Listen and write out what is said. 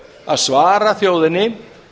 að svara þjóðinni